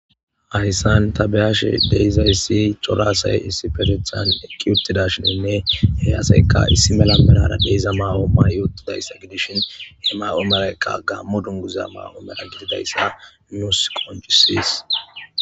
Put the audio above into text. Hayssan ta be'ashshe de'izayssi cora assay issifeteththan eqqi uttidashshininne he assayika issi mala mallara de'iza ma'o ma'i uttidayssa gidishshin he ma'o mayoyka gammo dunguza ma'o mala gididayssa nuusi qoncisees